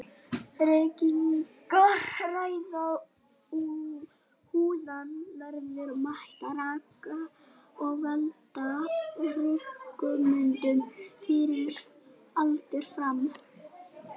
Reykingar ræna húðina verðmætum raka og valda hrukkumyndun fyrir aldur fram.